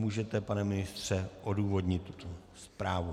Můžete pane ministře odůvodnit tuto zprávu.